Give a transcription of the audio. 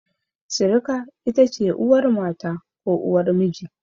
Sirika ita ce uwar mata ko uwar miji.